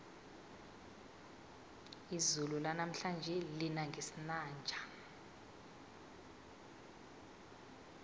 izulu lanamhlanje lina ngesinanja